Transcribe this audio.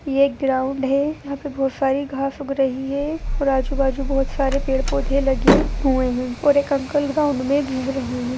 यह एक ग्राउंड है | यहाँ पे बहुत सारी घास उग रही है और आजु-बाजु बहुत सारे पेड़-पौधे लगे हुए हैं और एक अंकल ग्राउंड में घूम रहे हैं।